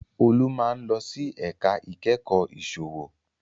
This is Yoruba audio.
Olú máa ń lọ sí ẹ̀ka ìkẹ́kọ̀ọ́ ìsòwò